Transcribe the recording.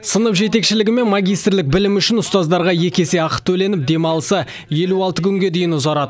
сынып жетекшілігі мен магистрлік білімі үшін ұстаздарға екі есе ақы төленіп демалысы елу алты күнге дейін ұзарады